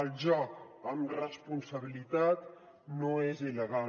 el joc amb responsabilitat no és il·legal